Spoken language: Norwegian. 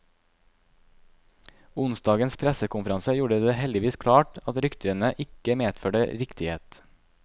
Onsdagens pressekonferanse gjorde det heldigvis klart at ryktene ikke medførte riktighet.